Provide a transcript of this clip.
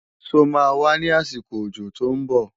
Ṣó máa wá ní àsìkò òjò tó ń bọ̀?